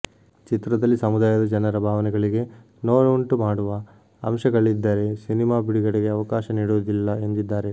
ಚಿತ್ರದಲ್ಲಿ ಸಮುದಾಯದ ಜನರ ಭಾವನೆಗಳಿಗೆ ನೋವುಂಟು ಮಾಡುವ ಅಂಶಗಳಿದ್ದರೇ ಸಿನಿಮಾ ಬಿಡುಗಡೆಗೆ ಅವಕಾಶ ನೀಡುವುದಿಲ್ಲ ಎಂದಿದ್ದಾರೆ